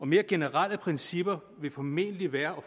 mere generelle principper vil formentlig være